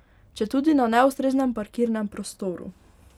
Četudi na neustreznem parkirnem prostoru.